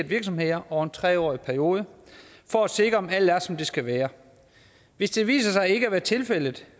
virksomheder over en tre årig periode for at sikre om alt er som det skal være hvis det viser sig ikke at være tilfældet